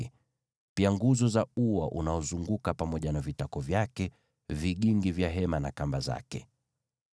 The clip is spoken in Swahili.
na pia nguzo za ua unaozunguka pamoja na vitako vyake, vigingi vya hema na kamba zake.